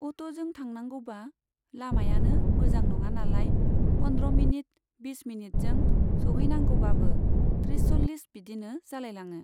अट'जों थांनांगौबा लामायानो मोजां नङानालाय पन्द्र मिनिट, बिस मिनिटजों सहैनांगौबाबो थ्रिस सल्लिस बिदिनो जालायलाङो।